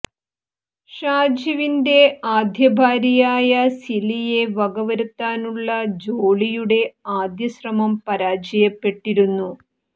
ഷാജിവിന്റെ ആദ്യഭാര്യയായ സിലിയെ വകവരുത്താനുള്ള ജോളിയുടെ ആദ്യ ശ്രമം പരാജയപ്പെട്ടിരുരുന്നു